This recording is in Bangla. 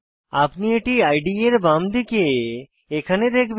আপনি এটি ইদে এর বাম দিকে এখানে দেখেবন